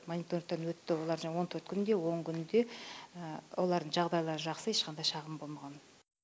мониторингтан өтті олар жаңағы он төрт күнде он күнде олардың жағдайлары жақсы ешқандай шағым болмаған